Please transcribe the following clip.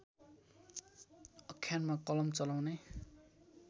आख्यानमा कलम चलाउने